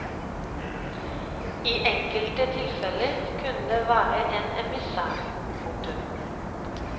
I enkelte tilfeller kunne det være en emissær. punktum